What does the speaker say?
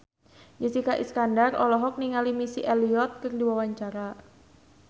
Jessica Iskandar olohok ningali Missy Elliott keur diwawancara